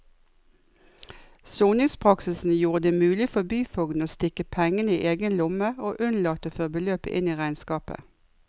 Soningspraksisen gjorde det mulig for byfogden å stikke pengene i egen lomme og unnlate å føre beløpet inn i regnskapet.